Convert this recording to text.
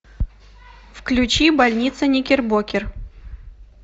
включи больница никербокер